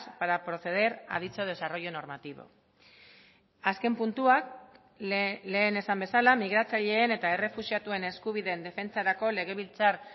para proceder a dicho desarrollo normativo azken puntuak lehen esan bezala migratzaileen eta errefuxiatuen eskubideen defentsarako legebiltzar